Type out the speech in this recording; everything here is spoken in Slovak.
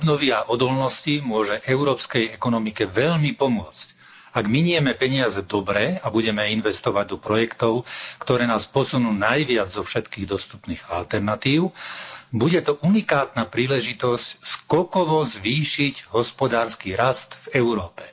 Vážený pán predsedajúci. Fond obnovy a odolnosti môže európskej ekonomike veľmi pomôcť. Ak minieme peniaze dobre a budeme investovať do projektov, ktoré nás posunú najviac zo všetkých dostupných alternatív, bude to unikátna príležitosť skokovo zvýšiť hospodársky rast v Európe.